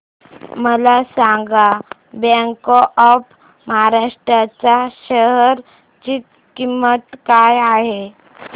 मला सांगा bank of Maharashtra च्या शेअर ची किंमत काय आहे